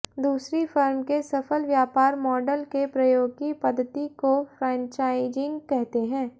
दूसरी फ़र्म के सफल व्यापार मॉडल के प्रयोग की पद्धति को फ़्रेंचाइज़िंग कहते हैं